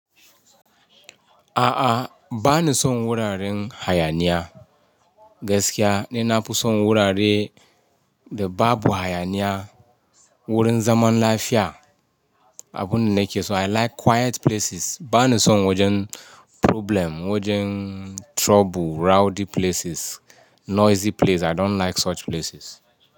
A'a, ba ni son wuraren hayaniya. Gaskiya, ni na fi son wurare da babu hayaniya, wurin zaman lafiya. Abun da nake so I like quiet places. Ba ni son wajen problem, wajen trouble, rowdy places, noisy place. I don't like such places.